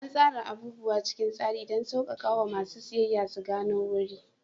An tsara abubuwa cikin tsari don sauƙaƙawa masu siyayya su gano wuri.